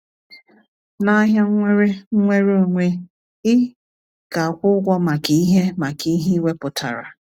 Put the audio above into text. N’ahịa nwere nnwere onwe, ị ga-akwụ ụgwọ maka ihe maka ihe i wepụtara.